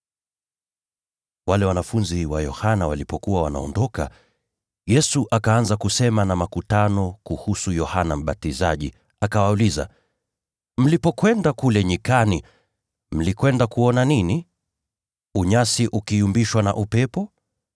Wale wanafunzi wa Yohana walipokuwa wanaondoka, Yesu akaanza kusema na makutano kuhusu Yohana Mbatizaji. Akawauliza, “Mlipokwenda kule nyikani, mlikwenda kuona nini? Je, ni unyasi ukipeperushwa na upepo?